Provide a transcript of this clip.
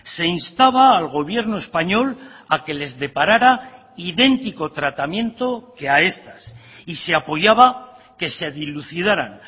se instaba al gobierno español a que les deparara idéntico tratamiento que a estas y se apoyaba que se dilucidaran